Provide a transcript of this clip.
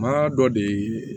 Maa dɔ de